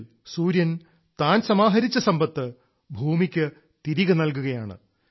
ഇപ്പോൾ മൺസൂൺ മാസത്തിൽ സൂര്യൻ താൻ സമാഹരിച്ച സമ്പത്ത് ഭൂമിക്ക് തിരികെ നൽകുകയാണ്